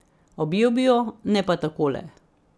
Objel bi jo, ne pa takole.